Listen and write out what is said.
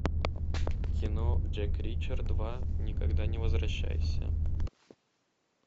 кино джек ричер два никогда не возвращайся